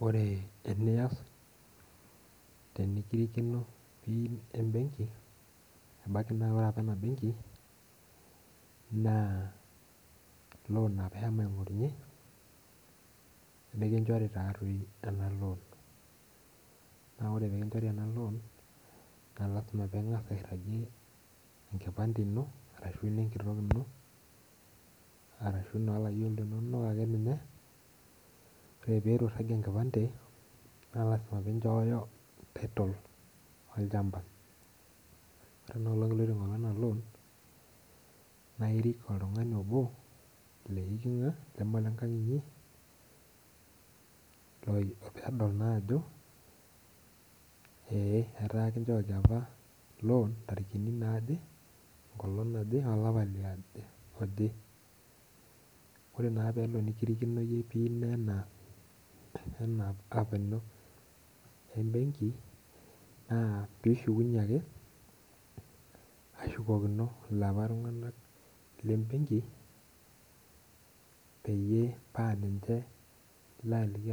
Ore enias tenikirikino pin embenki ebaki na ore aoa enabenki na loan apa ishomo aingorunye nikichori enaloab na ore pekinchori ena loan na lasima pilo aishooyo enkipande ino ashu enenkitok ino arashu na layiok linono na ore pituinchoru enkipande na lasima pinchooyo title olchamba ore enaalong nidip ataa enaloan nairik oltungani obo leikunga lamaa olenkang inyi peyie edol ataa kichooki apa loan ntarikini aje olapa liaje orepelo nikirikino pin ino embenki na pishukunye ake ashukokino paapa tunganak lebenki